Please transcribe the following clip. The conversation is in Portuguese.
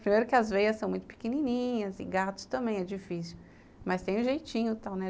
Primeiro que as veias são muito pequenininhas e gatos também é difícil, mas tem um jeitinho e tal, né?